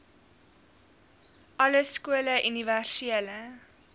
alle skole universele